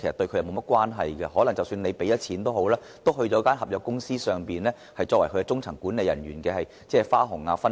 即使政府付了錢，但這筆錢只會成為外判公司中層管理人員的花紅和分肥。